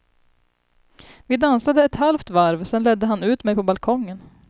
Vi dansade ett halvt varv, sedan ledde han ut mig på balkongen.